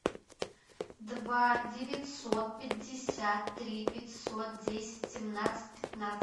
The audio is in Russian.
два девятьсот пятьдесят три пятьсот десять семнадцать пятнадцать